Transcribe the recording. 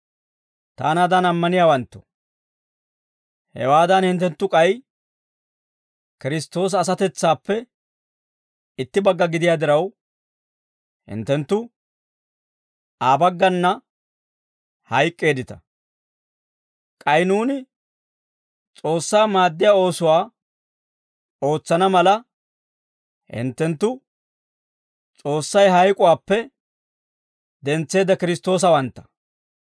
Taanaadan ammaniyaawanttoo, hewaadan hinttenttu k'ay Kiristtoosa asatetsaappe itti bagga gidiyaa diraw, hinttenttu Aa bagganna hayk'k'eeddita. K'ay nuuni S'oossaa maaddiyaa oosuwaa ootsana mala, hinttenttu S'oossay hayk'uwaappe dentseedda Kiristtoosawantta.